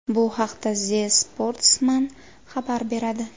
Bu haqda The Sportsman xabar beradi .